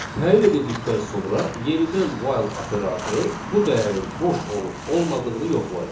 Təyin edildikdən sonra yenidən while operatoru bu dəyərin boş olub olmadığını yoxlayır.